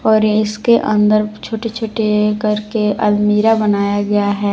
और ये इसके अंदर छोटे छोटे करके अलमीरा बनाया गया है।